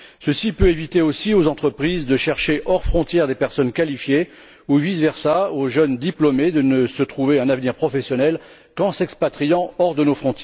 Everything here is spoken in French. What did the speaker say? Cela peut éviter aussi aux entreprises de chercher hors de nos frontières des personnes qualifiées, ou inversement, aux jeunes diplômés de ne se trouver un avenir professionnel qu'en s'expatriant hors de l'Union.